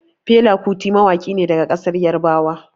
Fela Kuti mawaƙi ne daga ƙasar Yarbawa.